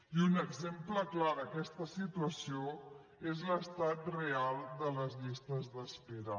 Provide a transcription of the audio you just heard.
i un exemple clar d’aquesta situació és l’estat real de les llistes d’espera